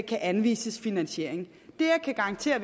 kan anvises finansiering det jeg kan garantere